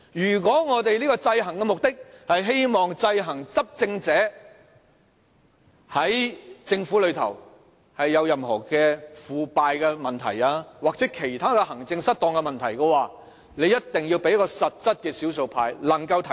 如果我們的制衡目的是希望制衡執政者，在政府中有任何腐敗的問題或其他行政失當的問題，議會一定要賦予少數派實際的權力，讓少數派能夠提出。